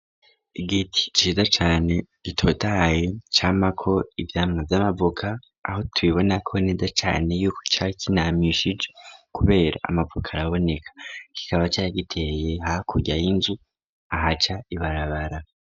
Igiti ciza cane gitotahaye camako ivyamwa vy'amavoka aho tubibona ko neza cane yuko cari kinamishije, kubera amavoka araboneka, kikaba cari giteye hakurya y'inzu ahaca ibarabara.